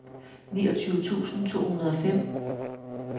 niogtyve tusind to hundrede og fem